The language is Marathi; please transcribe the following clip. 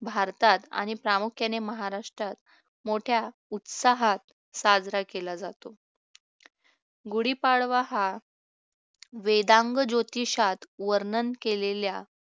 भारतात आणि प्रामुख्याने महाराष्ट्रात मोठ्या उत्साहात साजरा केला जातो गुढीपाडवा हा वेदांग ज्योतिषात वर्णन केलेल्या